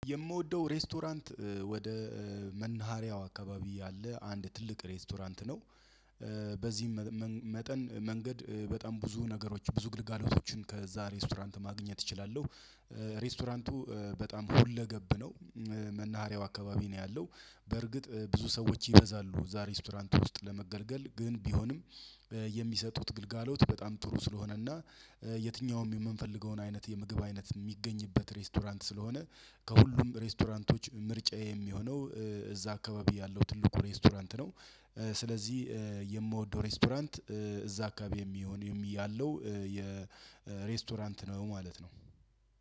የምወደው ሬስቶራንት ወደ መናሃሪያው አካባቢ ያለ አንድ ትልቅ ሬስቶራንት ነው። በዚህም መጠን መንገድ በጣም ብዙ ነገሮች ብዙ ግልጋሎቶችን ከዛ ሬስቶራንት ማግኘት እችላለሁ። ሬስቶራንቱ በጣም ሁለገብ ነው። መናሃሪያው አካባቢ ነው ያለው በርግጥ ብዙ ሰዎች ይበዛሉ ዛሬ ሬስቶራንት ውስጥ ለመገልገል ግን ቢሆንም። የሚሰጡት ግልጋሎት በጣም ጥሩ ስለሆነና የትኛውም የምንፈልገውን አይነት የምግብ አይነት የሚገኝበት ሬስቶራንት ስለሆነ። ከሁሉም ሬስቶራንቶች ምርጫ የሚሆነው እዛ አካባቢ ያለው ትልቁ ሬስቶራንት ነው። ስለዚህ የምወደው ሬስቶራንት እዛ አካባቢ የሚሆን ያለው የሬስቶራንት ነው ማለት ነው።